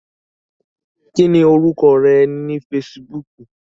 Kí ni orúkọ rẹ ní Facebook?